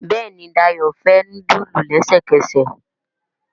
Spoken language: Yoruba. Béèni Dayo fè nudulu lẹsẹkẹsẹ.